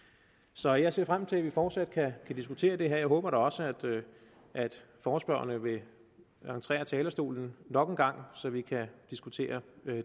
så jeg ser frem til at vi fortsat kan diskutere det her og håber da også at forespørgerne vil entre talerstolen nok en gang så vi kan diskutere